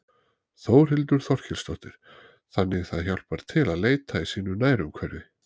Þórhildur Þorkelsdóttir: Þannig það hjálpar til að leita í sínu nærumhverfi?